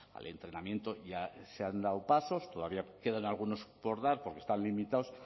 al entrenamiento ya se han dado pasos todavía quedan algunos por dar porque están limitados